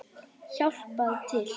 Hjálpað til!